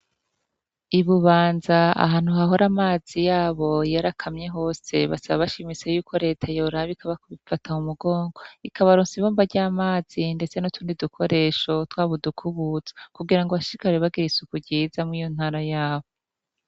I Bubanza ahantu hahora amazi y'abo yarakamye hose. Basaba bashimitse yuko leta yoraba ikabafata mu mugongo, ikabaronsa ibomba ry'amazi ndetse n'utundi dukoresho, twaba udukubuzo kugira ngo bashishikare bagire isuku ryiza mur'iyi ntara y'abo.